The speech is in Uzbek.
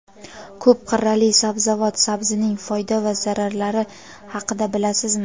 Ko‘p qirrali sabzavot — sabzining foyda va zararlari haqida bilasizmi?.